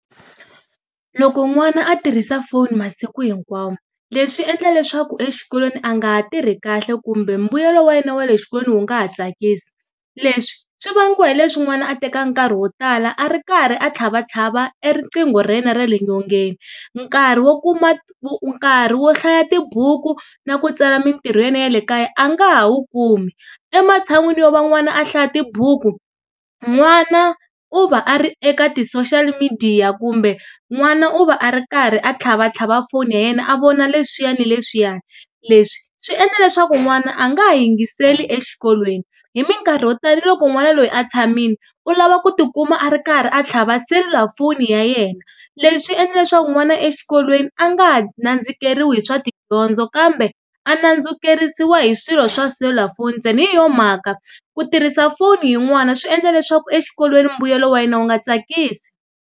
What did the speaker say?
Loko n'wana a tirhisa foni masiku hinkwawo leswi endla leswaku exikolweni a nga ha tirhi kahle kumbe mbuyelo wa yena wa le xikolweni wu nga ha tsakisi. Leswi swi vangiwa hi leswi n'wana a teka nkarhi wo tala a ri karhi a tlhavatlhava e riqingho ra yena ra le nyongeni, nkarhi wo kuma nkarhi nkarhi wo hlaya tibuku na ku tsala mintirho ya yena ya le kaya a nga ha wu kumi, ematshan'wini yo va n'wana a hlaya tibuku, n'wana u va a ri eka ti-social midiya kumbe n'wana u va a ri karhi a tlhavatlhava foni ya yena a vona leswiya na leswiyani. Leswi swi endla leswaku n'wana a nga ha yingiseli exikolweni. Hi minkarhi yo tala na loko n'wana loyi a tshamile u lava ku tikuma a ri karhi a tlhava selulafoni ya yena, leswi endla leswaku n'wana exikolweni a nga ha nandzikeriwi hi swa tidyondzo kambe a nandzikerisiwa hi swilo swa selulafoni tsena, hi yo mhaka ku tirhisa foni hi n'wana swi endla leswaku exikolweni mbuyelo wa yena wu nga tsakisi.